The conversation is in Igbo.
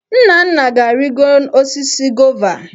Nnanna ga-arịgo osisi gova.